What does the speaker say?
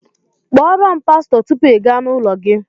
Kpọọ ro'm pasto tupu i gá n'ụlọ gi!